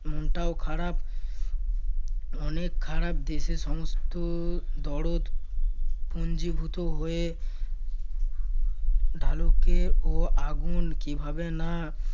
মনটাও খারাপ অনেক খারাপ। দেশের সমস্ত দরদ পুঞ্জিভূত হয়ে ঢালুকে ও আগুন কীভাবে না